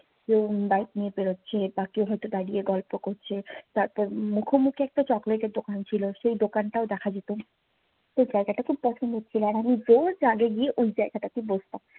কেউ bike নিয়ে পেড়োচ্ছে বা কেউ হয়তো দাঁড়িয়ে গল্প করছে। তারপর মুখোমুখি একটা chocolate এর দোকান ছিল। সেই দোকানটাও দেখা যেত। তো ওই জায়গাটা খুব পছন্দের ছিল। আর আমি গিয়ে ওই জায়গাটাতে বসতাম।